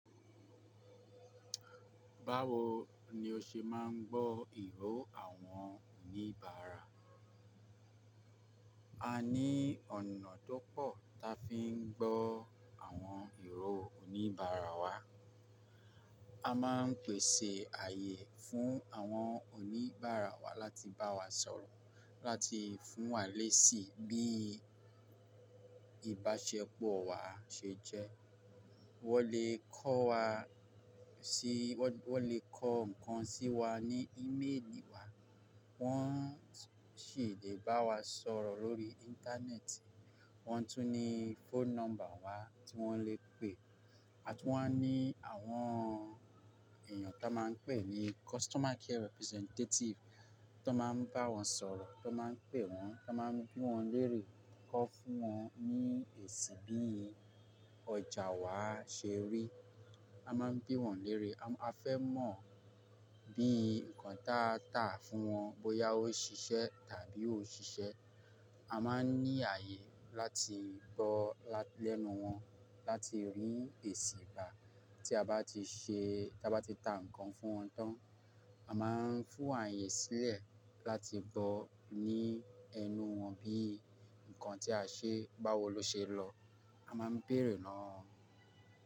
Báwo ni o ṣe máa ń gbọ́ ìró àwọn oníbàárà? A ní ọ̀nà tó pọ̀ ta fi ń gbọ́ àwọn ìró oníbàárà wa. A máa ń pèsè ààyè fún àwọn oníbàárà wa láti bá wa sọ̀rọ̀, láti fún wa léèsì bí ìbáṣepọ̀ wa ṣe jẹ́. Wọ́n lè kọ́ wa sí, wọ́n lè kọ nǹkan sí wa ní íméèlì wa, wọ́n sì lè bá wa sọ̀rọ̀ lórí íńtánẹ́ẹ̀tì. Wọ́n tún ní phone number wa tí wọ́n lè pè. A tún wa ní àwọn èèyàn ta máa ń pè ní customer care representative tó máa ń bá wọn sọ̀rọ̀, tó máa ń pè wọ́n, tó máa ń bí wọ́n lérè, kọ́ fún wọn ní èsì bí ọjà wa ṣe rí. A máa ń bí wọ́n lérè. A fẹ́ mọ̀ bí nǹkan tá n tà fún wọn bóyá ó ṣiṣẹ́ tàbí ò ṣiṣẹ́. A máa ń ní ààyè láti gbọ́ lẹ́nu wọn, láti rí èsì gbà tí a bá ti ṣe, tí a bá ti ta nǹkan fún wọn tán. A máa ń fún ààyè sílẹ̀ láti gbọ́ ní ẹnu wọn bí nǹkan tí a ṣe báwo ló ṣe lọ. A máa ń béèrè lo'wo won.